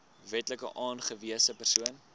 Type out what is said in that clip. wetlik aangewese persoon